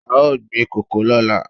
A ó gbin kòkó lọ́la.